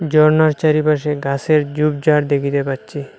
জর্ণার চারিপাশে গাসের ঝোপঝাড় দেখিতে পাচ্ছি।